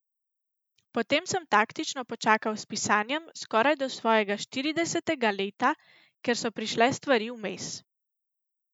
Potem sem taktično počakal s pisanjem skoraj do svojega štiridesetega leta, ker so prišle stvari vmes.